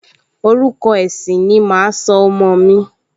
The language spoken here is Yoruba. Orúkọ ẹ̀sìn ni màá sọ ọmọ mi